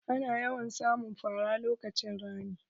Ana yawan samun fara lokacin rani.